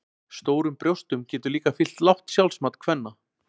Stórum brjóstum getur líka fylgt lágt sjálfsmat kvenna.